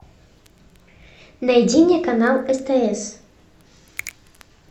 найди мне канал стс